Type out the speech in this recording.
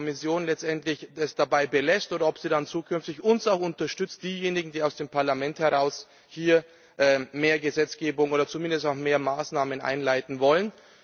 Ob die Kommission es letztendlich dabei belässt oder ob sie uns dann auch zukünftig unterstützt also diejenigen, die aus dem Parlament heraus hier mehr Gesetzgebung oder zumindest auch mehr Maßnahmen einleiten wollen.